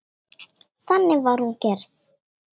Þannig var hún gerð.